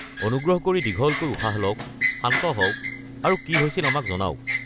অনুগ্ৰহ কৰি দীঘলকৈ উশাহ লওক, শান্ত হওক আৰু কি হৈছিল আমাক জনাওক।